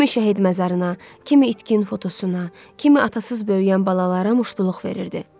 Kimi şəhid məzarına, kimi itkin fotosuna, kimi atasız böyüyən balalara muştuluq verirdi.